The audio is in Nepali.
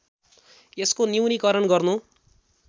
यसको न्यूनीकरण गर्नु